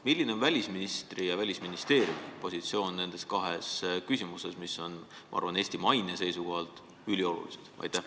Milline on välisministri ja Välisministeeriumi positsioon nendes kahes küsimuses, mis on, ma arvan, Eesti maine seisukohalt üliolulised?